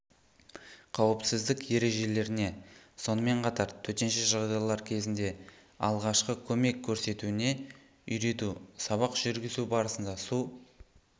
қауіпсіздік ережелеріне сонымен қатар төтенше жағдайлар кезінде алғашқы көмек көрсетуіне үйрету сабақ жүргізу барысында су